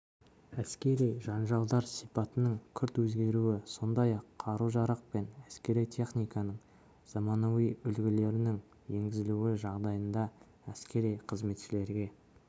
әскери жанжалдар сипатының күрт өзгеруі сондай-ақ қару-жарақ пен әскери техниканың заманауи үлгілерінің енгізілуі жағдайында әскери қызметшілерге